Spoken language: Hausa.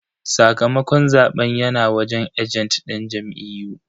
Sakamakon zaben yana wajen ajent din jam'iyyu.